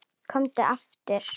Komdu aftur.